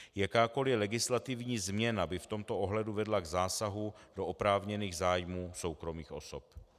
Jakákoli legislativní změna by v tomto ohledu vedla k zásahu do oprávněných zájmů soukromých osob.